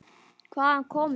Hvaðan komu þeir?